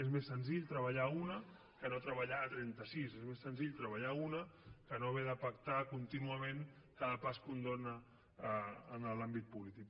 és més senzill treballar a una que no treballar a trenta sis és més senzill treballar a una que no haver de pactar contínuament cada pas que un dóna en l’àmbit polític